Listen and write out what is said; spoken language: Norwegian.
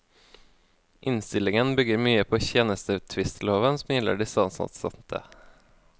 Innstillingen bygger mye på tjenestetvistloven som gjelder de statsansatte.